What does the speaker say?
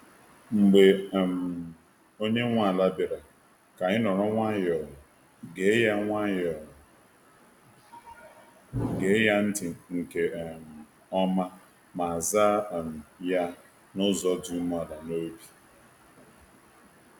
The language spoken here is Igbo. Mgbe um onye nwe ala bịara, ka anyị nọrọ nwayọọ, gee ya nwayọọ, gee ya ntị nke um ọma, ma zaa um ya n’ụzọ dị umeala n’obi.